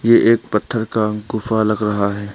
ये एक पत्थर का गुफा लग रहा है।